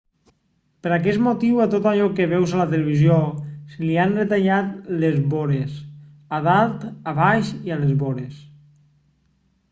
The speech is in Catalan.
per aquest motiu a tot allò que veus a la tv se li han retallat les vores a dalt a baix i a les vores